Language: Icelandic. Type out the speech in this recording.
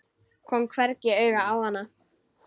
Kom hvergi auga á hana.